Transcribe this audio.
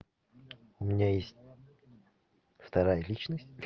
у меня есть вторая личность